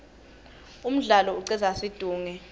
umdlalo icedza situnge